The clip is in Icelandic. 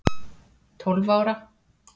Tólf ára